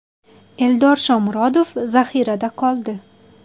Eldor Shomurodov zaxirada qoldi.